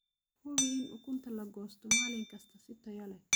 Hubi in ukunta la goosto maalin kasta si tayo leh.